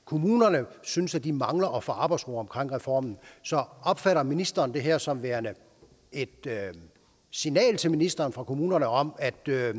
kommunerne synes at de mangler at få arbejdsro omkring reformen så opfatter ministeren det her som værende et signal til ministeren fra kommunerne om at det